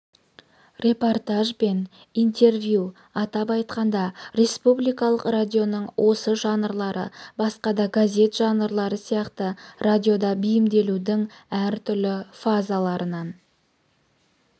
репортаж бен интервью атап айтқанда республикалық радионың осы жанрлары басқа да газет жанрлары сияқты радиода бейімделудің әртүрлі фазаларынан